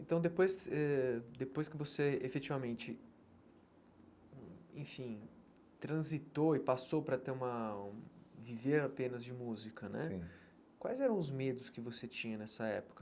Então, depois que você eh depois que você efetivamente hum enfim transitou e passou para ter uma viver apenas de música né, quais eram os medos que você tinha nessa época?